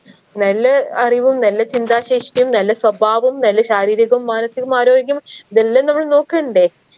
നല്ല അറിവും നല്ല ചിന്താ ശേഷിയും നല്ല സ്വഭാവവും നല്ല ശാരീരികവും മാനസികവും ആരോഗ്യവും ഇതെല്ലം നമ്മള് നോക്കണ്ടേ